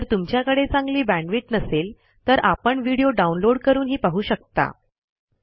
जर तुमच्याकडे चांगली बॅण्डविड्थ नसेल तर आपण व्हिडिओ डाउनलोड करूनही पाहू शकता